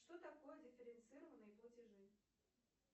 что такое дифференцированные платежи